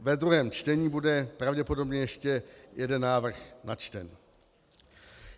Ve druhém čtení bude pravděpodobně ještě jeden návrh načten.